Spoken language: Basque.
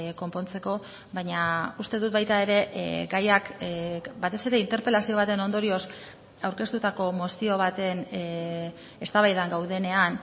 konpontzeko baina uste dut baita ere gaiak batez ere interpelazio baten ondorioz aurkeztutako mozio baten eztabaidan gaudenean